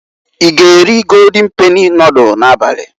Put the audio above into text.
I g'eri Goldin peni nodulu n'abali?